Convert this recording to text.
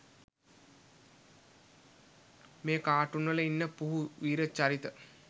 මේ කාටුන්වල ඉන්න පුහු වීර චරිත